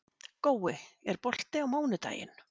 Gói, er bolti á mánudaginn?